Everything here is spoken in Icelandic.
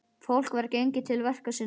Fólk var gengið til verka sinna.